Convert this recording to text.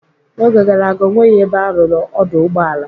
N'oge gara aga, ọ nweghị ebe a rụrụ ọdụ ụgbọala.